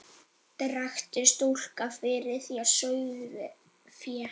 Drekkti stúlka fyrir þér sauðfé?